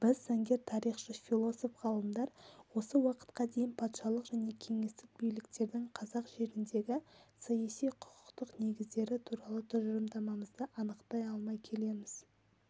біз заңгер тарихшы философ ғалымдар осы уақытқа дейін патшалық және кеңестік биліктердің қазақ жеріндегі саяси-құқықтық негіздері туралы тұжырымдарымызды анықтай алмай келеміз